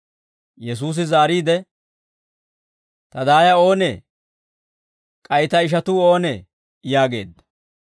Yesuusi zaariide, «Ta daaya oonee? K'ay ta ishatuu oonee?» yaageedda.